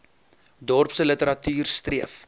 dorpse literatuur streef